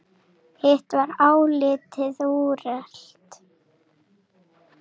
Hitt var álitið úrelt.